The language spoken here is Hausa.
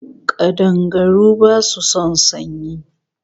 Kadangaru basu son sanyi